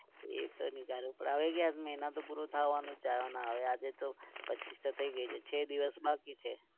એ તો નીકળવું પડે હવે ક્યાં મહિના તો પુરા થવાનો છે હવે અને આજે તો પચ્ચીસ તો થઇ ગઈ છે છ દિવસ બાકી છે.